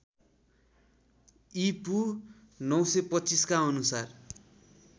ईपू ९२५ का अनुसार